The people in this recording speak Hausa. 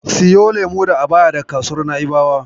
Siyo lemo da abaya daga kasuwar Na'ibawa.